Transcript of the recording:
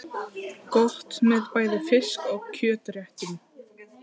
Gott með bæði fisk- og kjötréttum.